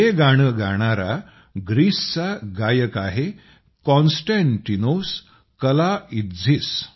हे गाणं गाणारा ग्रीसचा गायक आहे कॉन्स्टँटिनोस कलाइत्झीस